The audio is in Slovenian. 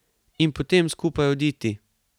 In potem skupaj oditi.